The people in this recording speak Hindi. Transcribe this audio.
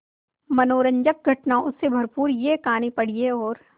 मनोरंजक घटनाओं से भरपूर यह कहानी पढ़िए और